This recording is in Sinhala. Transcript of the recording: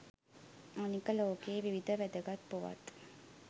අනික ලෝකයේ විවිධ වැදගත් පුවත්